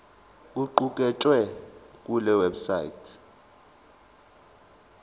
okuqukethwe kule website